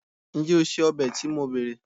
njé o se obe to mo bere